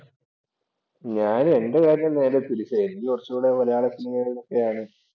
ഞാൻ എന്‍റെ കാര്യം നേരെ തിരിച്ചാ. എനിക്ക് കൊറച്ചൂടെ മലയാള സിനിമയോടെക്കെയാണ്